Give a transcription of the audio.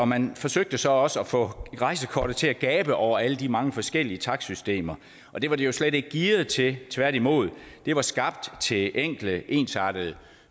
man forsøgte så også at få rejsekortet til at gabe over alle de mange forskellige takstsystemer og det var det jo slet ikke gearet til tværtimod det var skabt til enkle ensartede